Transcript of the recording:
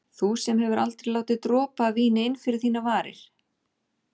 Þú sem hefur aldrei látið dropa af víni inn fyrir þínar varir.